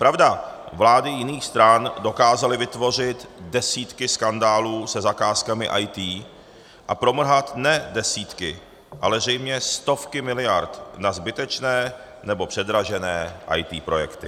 Pravda, vlády jiných stran dokázaly vytvořit desítky skandálů se zakázkami IT a promrhat ne desítky, ale zřejmě stovky miliard na zbytečné nebo předražené IT projekty.